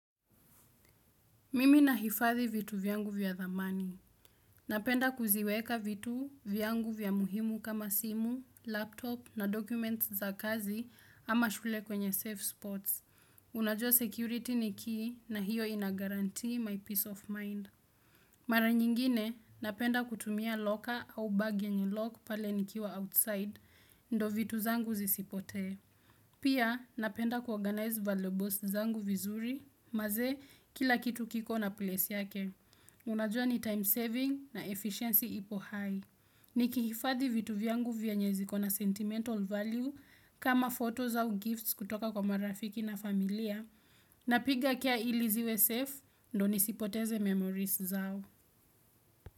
Mimi na hifadhi vitu vyangu vya dhamani. Napenda kuziweka vitu vyangu vya muhimu kama simu, laptop na documents za kazi ama shule kwenye safe spots. Unajua security ni key na hiyo inagurantee my peace of mind. Mara nyingine napenda kutumia locker au bag yenye lock pale nikiwa outside ndo vitu zangu zisipotee. Pia napenda kuorganize valuables zangu vizuri maze kila kitu kiko na place yake. Unajua ni time saving na efficiency ipo high. Ni kifadhi vitu vyangu vyenye ziko na sentimental value kama photos au gifts kutoka kwa marafiki na familia. Napiga care ili ziwe safe ndo nisipoteze memories zangu.